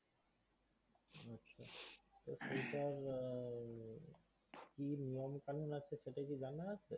তো সেইটার হম কি নিয়ম কানুন আছে সেটা কি জানা আছে?